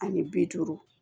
Ani bi duuru